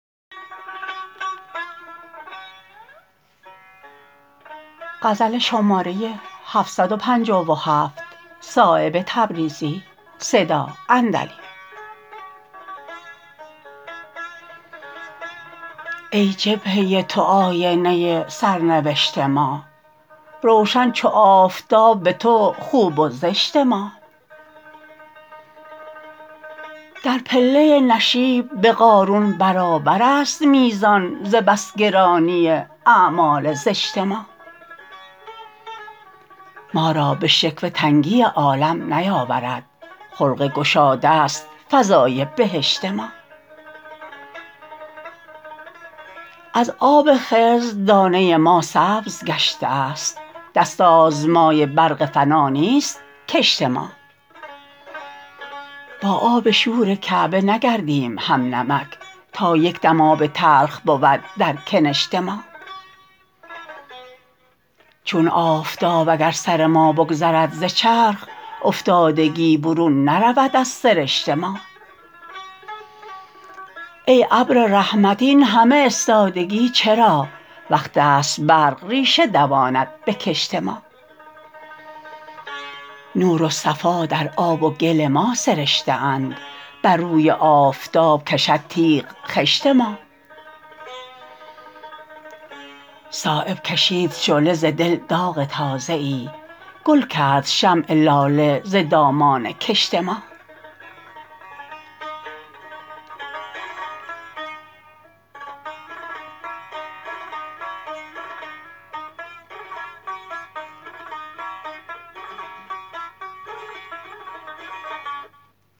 ای جبهه تو آینه سرنوشت ما روشن چو آفتاب به تو خوب و زشت ما در پله نشیب به قارون برابرست میزان ز بس گرانی اعمال زشت ما ما را به شکوه تنگی عالم نیاورد خلق گشاده است فضای بهشت ما از آب خضر دانه ما سبز گشته است دست آزمای برق فنا نیست کشت ما با آب شور کعبه نگردیم هم نمک تا یک دم آب تلخ بود در کنشت ما چون آفتاب اگر سر ما بگذرد ز چرخ افتادگی برون نرود از سرشت ما ای ابر رحمت این همه استادگی چرا وقت است برق ریشه دواند به کشت ما نور و صفا در آب و گل ما سرشته اند بر روی آفتاب کشد تیغ خشت ما صایب کشید شعله ز دل داغ تازه ای گل کرد شمع لاله ز دامان کشت ما